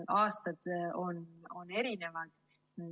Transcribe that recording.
Aastad on erinevad.